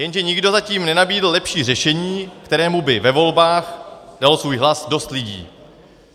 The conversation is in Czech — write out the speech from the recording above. Jenže nikdo zatím nenabídl lepší řešení, kterému by ve volbách dalo svůj hlas dost lidí.